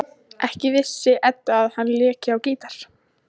Ekki vissi Edda að hann léki á gítar.